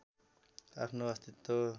आफ्नो अस्तित्व